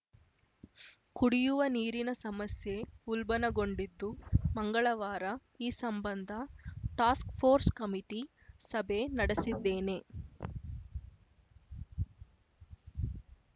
ಕುಡಿಯುವ ನೀರಿನ ಸಮಸ್ಯೆ ಉಲ್ಬಣಗೊಂಡಿದ್ದು ಮಂಗಳವಾರ ಈ ಸಂಬಂಧ ಟಾಸ್ಕ್‌ಫೋರ್ಸ್‌ ಕಮಿಟಿ ಸಭೆ ನಡೆಸಿದ್ದೇನೆ